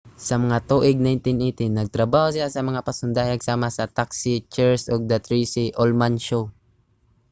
sa mga tuig 1980 nagtrabaho siya sa mga pasundayag sama sa taksi cheers ug the tracey ullman show